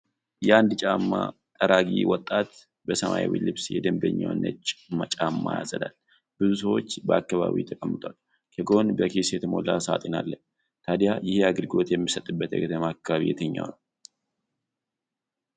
አንድ የጫማ ጠራጊ ወጣት በሰማያዊ ልብስ የደንበኛውን ነጭ ጫማ ያጸዳል። ብዙ ሰዎች በአካባቢው ተቀምጠዋል፤ ከጎን በኪስ የተሞላ ሳጥን አለ። ታዲያ ይህ አገልግሎት የሚሰጥበት የከተማ አካባቢ የትኛው ነው?